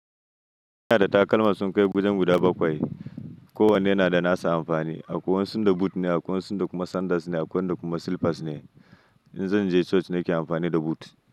Ina da takalma sun kai wajen guda bakwai. Ko wanne yana da nasa amfani. Akwai wasun da boot ne, akwai wasun da kuma sandals ne, akwai wanda kuma slippers ne. In zan je church nake amfani da boot.